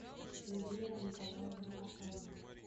индира николаевна асанова